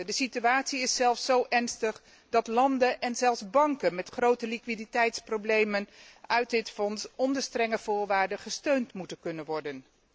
De situatie is zelfs zo ernstig dat landen en zelfs banken met grote liquiditeitsproblemen uit dit fonds onder strenge voorwaarden gesteund moeten kunnen worden.